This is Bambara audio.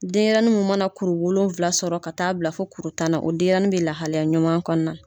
Denyɛrɛnin mun mana kuru wolonwula sɔrɔ ka taa bila fo kuru tan na, o denyɛrɛnin be lahalaya ɲuman kɔnɔna na.